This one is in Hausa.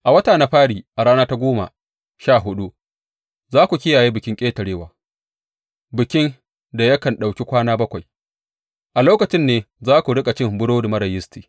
A wata na fari a rana ta goma sha huɗu za ku kiyaye Bikin Ƙetarewa, bikin da yakan ɗauki kwana bakwai, a lokacin ne za ku riƙa cin burodi marar yisti.